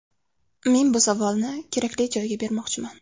Men bu savolni kerakli joyga bermoqchiman.